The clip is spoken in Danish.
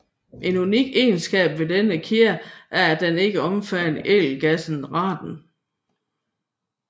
En unik egenskab ved denne kæde er at den ikke omfatter ædelgassen radon